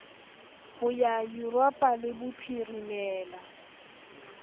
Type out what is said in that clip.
ho ba yuropa le bophirimela